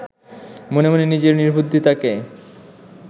মনে মনে নিজের নির্বুদ্ধিতাকে